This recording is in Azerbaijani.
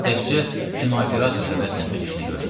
Təkcə kino operator həvəslə öz işini görürdü.